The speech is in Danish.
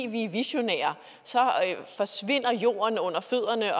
vi er visionære så forsvinder jorden under fødderne